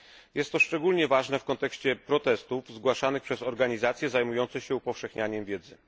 Jest to szczególnie ważne w kontekście protestów zgłaszanych przez organizacje zajmujące się upowszechnianiem wiedzy.